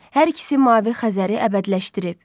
Hər ikisi mavi Xəzəri əbədiləşdirib.